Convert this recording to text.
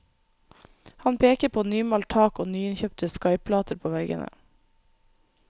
Han peker på nymalt tak og nyinnkjøpte skaiplater på veggene.